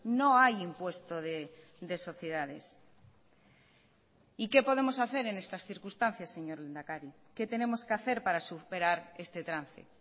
no hay impuesto de sociedades y qué podemos hacer en estas circunstancias señor lehendakari qué tenemos que hacer para superar este trance